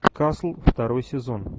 касл второй сезон